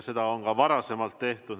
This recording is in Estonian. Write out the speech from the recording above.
Seda on ka varem tehtud.